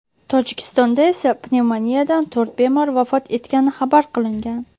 Tojikistonda esa pnevmoniyadan to‘rt bemor vafot etgani xabar qilingan .